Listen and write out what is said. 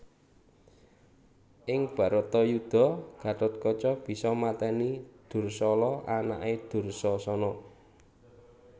Ing Bharatayudha Gathotkaca bisa matèni Dursala anaké Dursasana